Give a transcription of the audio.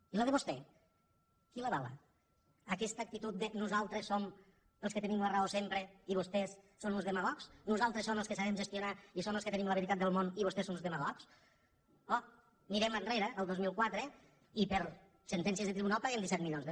i la de vostè qui l’avala aquesta actitud de nosaltres som els que tenim la raó sempre i vostès són uns demagogs nosaltres som els que sabem gestionar i som els que tenim la veritat del món i vostès són uns demagogs o mirem enrere el dos mil quatre i per sentències del tribunal paguem disset milions de